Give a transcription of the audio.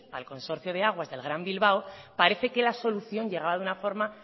al consorcio de aguas del gran bilbao parece que la solución llegaba de una forma